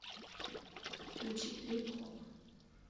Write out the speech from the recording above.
включи трип хоп